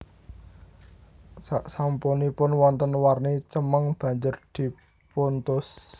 Saksampunipun wonten warni cemeng banjur dipuntus